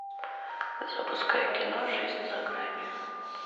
запускай кино жизнь за гранью